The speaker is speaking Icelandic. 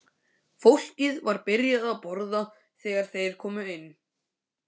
Fólkið var byrjað að borða þegar þeir komu inn.